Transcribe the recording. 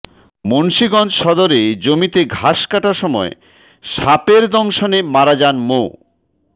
মুন্সিগঞ্জ সদরে জমিতে ঘাস কাটার সময় সাপের দর্শনে মারা যান মো